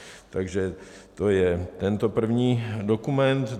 Takže to je tento první dokument.